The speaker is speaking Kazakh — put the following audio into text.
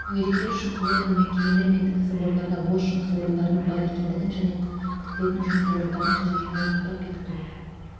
мүгедектер үшін квотаны мекемелер мен кәсіпорындарда бос жұмыс орындарының бар екендігін және күтілетін жұмыс орындарының қажеттілігін анықтап бекіту